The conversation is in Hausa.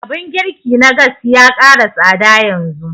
Abun girki na gas ya ƙara tsada yanzu